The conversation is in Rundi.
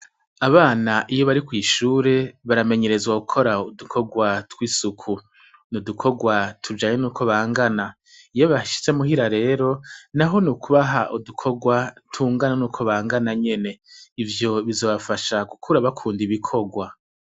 Abana iyo bari kwishure baramenyerezwa gukora udukogwa tw' isuku ni udukogwa tujanye n' ukwo bangana iyo bashitse muhira rero naho ni kubaha udukogwa tungana nkukwo bangana nyene ivyo bizobafasha gukura bakunda ibikogwa.